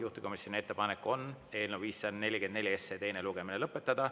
Juhtivkomisjoni ettepanek on eelnõu 544 SE teine lugemine lõpetada.